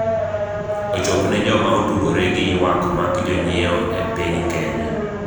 ochopne joma otudore gi ywak mak jonyiewo e piny Kenya